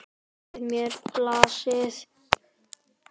Við mér blasir.